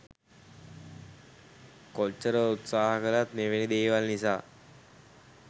කොචිචිර උත්සහා කලත් මෙවැනි දේවල් නිසා